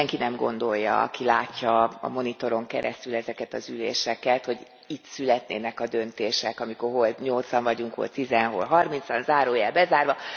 Tehát azt senki nem gondolja, aki látja a monitoron keresztül ezeket az üléseket, hogy itt születnének a döntések, amikor hol nyolcan vagyunk, hol tízen, hol harmincan, zárójel bezárva...